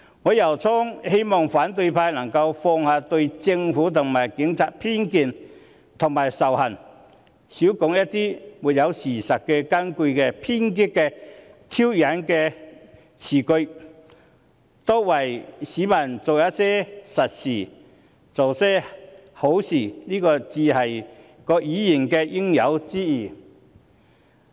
我由衷希望反對派能夠放下對政府及警察的偏見和仇恨，少說一些沒有事實根據的偏激和挑釁辭句，多為市民做些實事，做些好事，這才是議員應有之義。